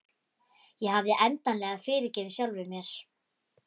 Ég hafði endanlega fyrirgefið sjálfri mér.